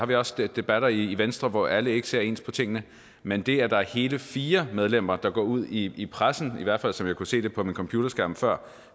vi også debatter i venstre hvor alle ikke ser ens på tingene men det at der er hele fire medlemmer der går ud i i pressen i hvert fald som jeg kunne se det på min computerskærm før